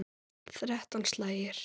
Þrettán slagir.